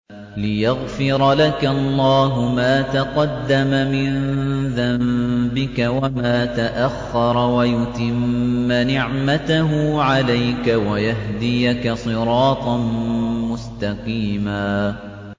لِّيَغْفِرَ لَكَ اللَّهُ مَا تَقَدَّمَ مِن ذَنبِكَ وَمَا تَأَخَّرَ وَيُتِمَّ نِعْمَتَهُ عَلَيْكَ وَيَهْدِيَكَ صِرَاطًا مُّسْتَقِيمًا